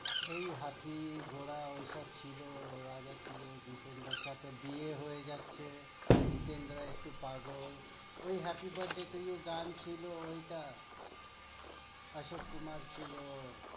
ঐ হাতি ঘোড়া ঐসব ছিলো, রাজা ছিলো, জিতেন্দ্রার সাথে বিয়ে হয়ে যাচ্ছে। জিতেন্দ্রা একটু পাগল। ঐ happy birthday to you গান ছিলো ঐটা, আশা কুমার ছিলো।